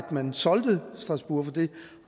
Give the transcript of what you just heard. man solgte strasbourg for det